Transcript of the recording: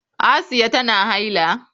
Asiya tana haila?